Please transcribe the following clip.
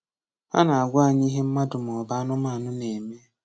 Ha na-agwa anyị ihe mmadụ maọbụ anụmanụ na-eme.